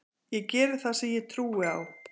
Ég geri það sem ég trúi á.